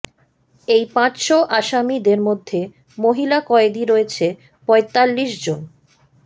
এই পাঁচশো আসামীদের মধ্যে মহিলা কয়েদি রয়েছে পঁয়তাল্লিশ জন